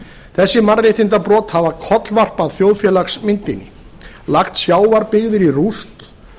þessi mannréttindabrot hafa kollvarpað þjóðfélagsmyndinni lagt sjávarbyggðir í rúst